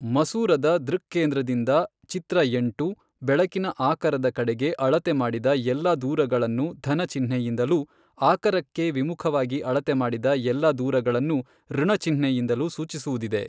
ಮಸೂರದ ದೃಕ್ಕೇಂದ್ರದಿಂದ ಚಿತ್ರ ಎಂಟು, ಬೆಳಕಿನ ಆಕರದ ಕಡೆಗೆ ಅಳತೆ ಮಾಡಿದ ಎಲ್ಲ ದೂರಗಳನ್ನು ಧನ ಚಿಹ್ನೆಯಿಂದಲೂ ಆಕರಕ್ಕೆ ವಿಮುಖವಾಗಿ ಅಳತೆ ಮಾಡಿದ ಎಲ್ಲ ದೂರಗಳನ್ನು ಋಣಚಿಹ್ನೆಯಿಂದಲೂ ಸೂಚಿಸುವುದಿದೆ.